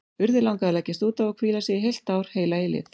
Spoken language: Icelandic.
Urði langaði að leggjast út af og hvíla sig, í heilt ár, heila eilífð.